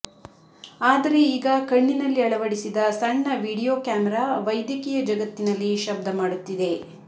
ಆದರೆ ಈಗ ಕಣ್ಣಿನಲ್ಲಿ ಅಳವಡಿಸಿದ ಸಣ್ಣ ವಿಡಿಯೋ ಕ್ಯಾಮೆರಾ ವೈದ್ಯಕೀಯ ಜಗತ್ತಿನಲ್ಲಿ ಶಬ್ದಮಾಡುತ್ತಿದೆ